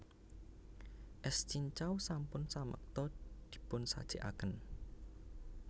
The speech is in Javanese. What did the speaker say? Es cincau sampun samekta dipun sajekaken